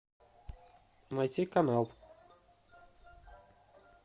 найти канал